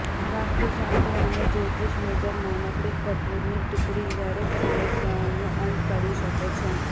વાસ્તુ શાસ્ત્ર અને જ્યોતિષ મુજબ નાનકડી કપૂરની ટિકડી દરેક સમસ્યાઓનો અંત કરી શકે છે